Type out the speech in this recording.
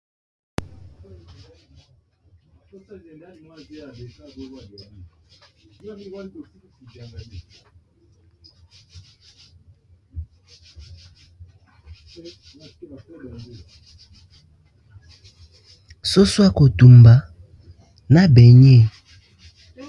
soso ya kotumba na ba baigner.